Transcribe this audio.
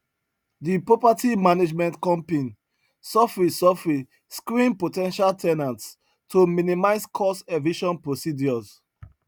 di property management compin sofri sofri screened po ten tial ten ants to minimize cost eviction procedures